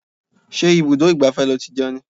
Ṣé ibùdó ìgbafẹ́ ni ó ti jẹun ni?